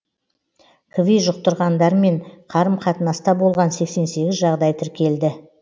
кви жұқтырғандармен қарым қатынаста болған сексен сегіз жағдай тіркелді